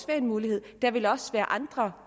være en mulighed der vil også være andre